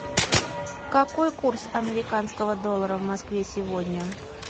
какой курс американского доллара в москве сегодня